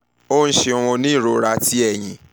o ṣeun o ni irora ti ẹyin